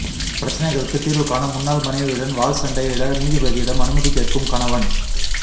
பிரச்சினைகளுக்கு தீர்வு காண முன்னாள் மனைவியுடன் வாள் சண்டையிட நீதிபதியிடம் அனுமதி கேட்கும் கணவன்